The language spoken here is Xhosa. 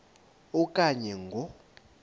a okanye ngo